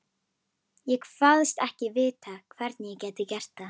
Ég kvaðst ekki vita, hvernig ég gæti gert það.